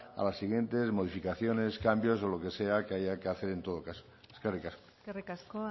a las siguiente modificaciones cambios o lo que sea que haya que hacer en todo caso eskerrik asko eskerrik asko